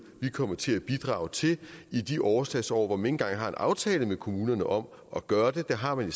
vi kommer til at bidrage til i de overslagsår hvor man ikke engang har en aftale med kommunerne om at gøre det det har man